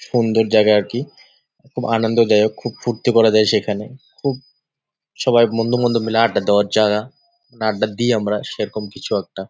সুন্দর জায়গা আর কি খুব আনন্দদায়ক খুব ফুর্তি করা যায় সেখানে খুব সবাই বন্ধুবান্ধব মিলে আড্ডা দেওয়ার জাগা মানে আড্ডা দিই আমরা সেরকম কিছু একটা ।